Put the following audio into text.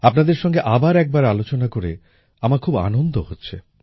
আপনাদের সঙ্গে আবার একবার আলোচনা করে আমার খুব আনন্দ হচ্ছে